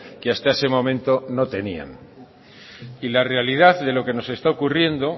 que hasta ese momento no tenían y la realidad de lo que nos está ocurriendo